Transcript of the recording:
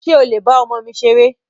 Ṣé o lè ba ọmọ mi ṣeré?